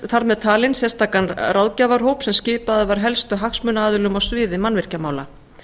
þar með talinn sérstakan ráðgjafarhóp sem skipaður var helstu hagsmunaaðilum á sviði mannvirkjamála